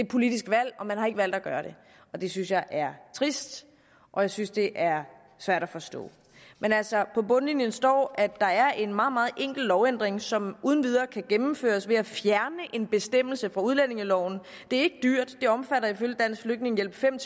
politisk valg og man har ikke valgt at gøre det det synes jeg er trist og jeg synes det er svært at forstå men altså på bundlinjen står at der er en meget meget enkel lovændring som uden videre kan gennemføres ved at fjerne en bestemmelse fra udlændingeloven det er ikke dyrt det omfatter ifølge dansk flygtningehjælp fem